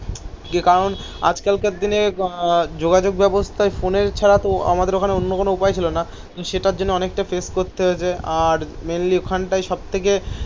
যে কারণ আজকালকার দিনে যোগাযোগ ব্যবস্থায় ফোনের ছাড়া তো আমাদের ওখানে অন্য কোন উপায় ছিল না. তো সেটার জন্য অনেকটা ফেস করতে হয়েছে. আর মেইনলি ওখানটায় সব থেকে